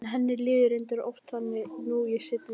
En henni líður reyndar oft þannig nú í seinni tíð.